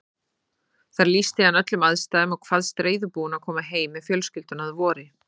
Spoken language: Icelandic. Þar lýsti hann öllum aðstæðum og kvaðst reiðubúinn að koma heim með fjölskylduna að vori.